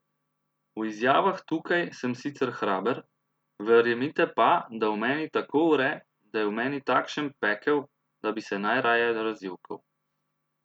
V izjavah tukaj sem sicer hraber, verjemite pa, da v meni tako vre, da je v meni takšen pekel, da bi se najraje razjokal.